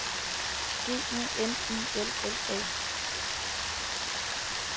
G U N I L L A